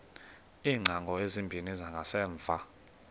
iingcango ezimbini zangasemva